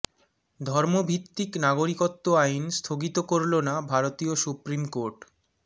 ধর্মভিত্তিক নাগরিকত্ব আইন স্থগিত করল না ভারতীয় সুপ্রিম কোর্ট